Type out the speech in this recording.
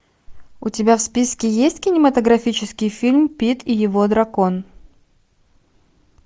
у тебя в списке есть кинематографический фильм пит и его дракон